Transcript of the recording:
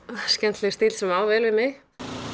skemmtilegur stíll sem á vel við mig